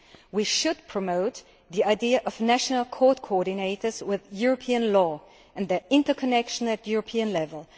We should promote the idea of national court coordinators with European law and their interconnection at European level.